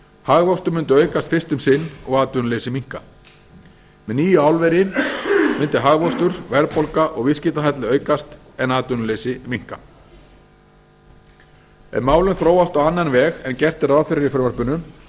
hagvöxtur myndi aukast fyrst um sinn og atvinnuleysi minnka með nýju álveri myndi hagvöxtur verðbólga og viðskiptahalli aukast en atvinnuleysi minnka ef málin þróast á annan veg en gert er ráð fyrir í frumvarpinu